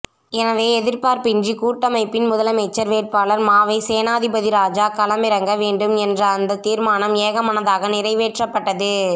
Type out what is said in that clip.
எனவே எதிர்ப்பின்றி கூட்டமைப்பின் முதலமைச்சர் வேட்பாளர் மாவை சேனாதிராசா களமிறக்க வேண்டும் என்ற அந்த தீர்மானம் ஏகமனதாக நிறைவேற்றப்பட்டது